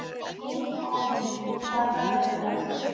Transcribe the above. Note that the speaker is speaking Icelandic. Avelin, hvaða dagur er í dag?